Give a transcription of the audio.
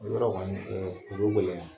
Yɔrɔ kɔni o bɛ gɛlɛya.